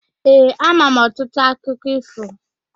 Ee, ama m ọtụtụ akụkọ ífò.